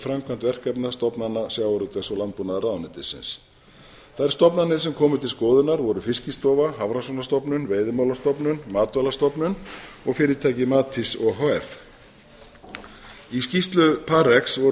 framkvæmd verkefna stofnana sjávarútvegs og landbúnaðarráðuneytisins þær stofnanir sem komu til skoðunar voru fiskistofa hafrannsóknastofnun veiðimálastofnun matvælastofnun og fyrirtækið matís o h f í skýrslu parx voru